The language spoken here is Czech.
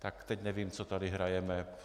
Tak teď nevím, co tady hrajeme.